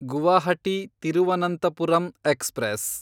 Guwahati Thiruvananthapuram express